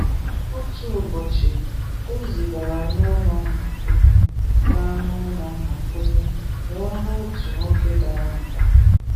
Otu ụbọchị, Ezi gara n’ụlọ mgbakwụnye gara n’ụlọ mgbakwụnye wee hụ otu nwoke dara mba.